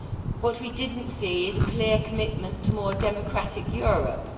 What we did not see is a clear commitment to a more democratic Europe.